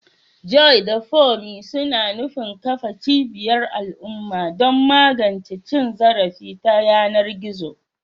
Joy da Funmi suna nufin kafa cibiyar al'umma don magance cin zarafi ta yanar gizo.